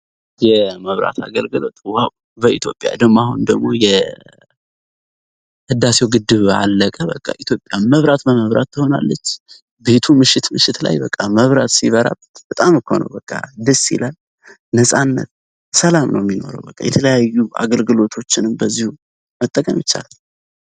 የመብራት አገልግሎት ውሃው በኢትዮጵያ ደሞ አሁን ደግሞ የህዳሴው ግድብ አለቀ በቃ ኢትዮጵያ መብራት በመብራት ትሆናለች። ቤቱ ምሽት ምሽት ላይ በቃ መብራት ሲበራበት በጣም እኮ ነው በቃ ደስ ይላል፣ ነፃነት፣ ሰላም ነው የሚኖረው በቃ የተለያዩ አገልግሎቶችንም በዚሁ መጠቀም ይቻላል።